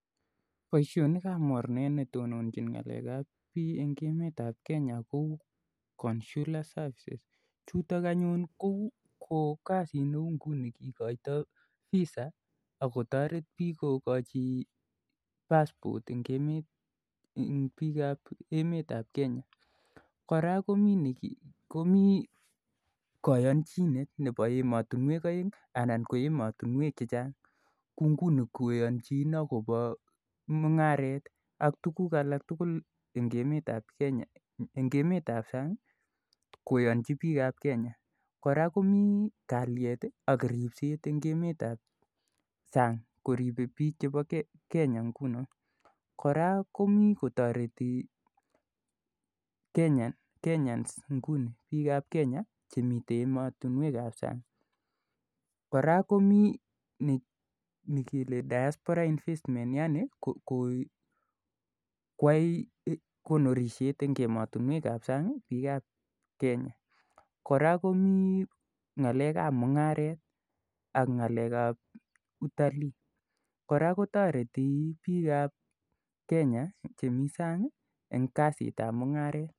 Poishonik ap mornet ne tononchin ng'alek ap bii eng' emetap Kenya kou consular services chutok anyun ko kasit ne u nguni kikaitai Visa ak kotaret piik kokachi passport eng' emet, eng' piik ap emet ap Kenya. Kora komi kayanchinet nepo ematunwek aeng' anan ko ematunwek che chang' kou nguni koyanchin ak mung'aret ak tuguk alak tugul eng' emet ap sang' koyanchi piik ap Kenya. Kora komi kalyet ak ripset ebg' emet ap sabg' koripei piik chepo Kenya nguno. Kora komi kotareti (cs(Kenyans nguni, piik ap Kenya, chemiten ematunwek ap sang'.Kora komi ni kele diaspora investment yani koyai konorishet eng' ematunwek ap sang' piik ap Kenya. Kora koming'alek ap mung'aret anan ko ng'alek ap utalii. Kora kotareti piikap Kenya chi msabg' eng' kasit ap mung'aret.